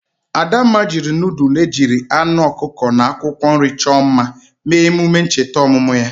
Adamma jiri nudul ejiri anu okuko na akwokwo nri cho mma mee emume ncheta omumu ya.